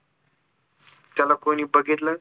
त्याला कोणी बघितलं